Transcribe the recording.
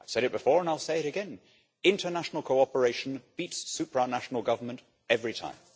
I have said it before and I'll say it again international cooperation beats supranational government every time.